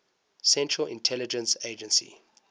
central intelligence agency